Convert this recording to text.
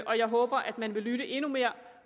jeg håber at man vil lytte endnu mere